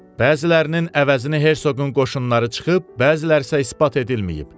Bəzilərinin əvəzini Herseqqun qoşunları çıxıb, bəziləri isə isbat edilməyib.